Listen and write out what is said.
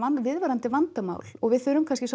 viðvarandi vandamál og við þurfum kannski